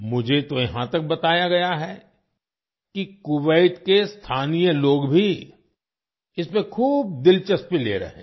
मुझे तो यहाँ तक बताया गया है कि कुवैत के स्थानीय लोग भी इसमें खूब दिलचस्पी ले रहे हैं